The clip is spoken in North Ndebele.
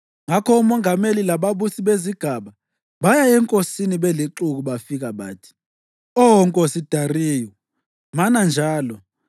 Ngakho omongameli lababusi bezigaba baya enkosini belixuku bafika bathi: “Oh nkosi Dariyu, mana njalo!